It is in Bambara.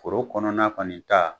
Foro kɔnɔna na kɔni taa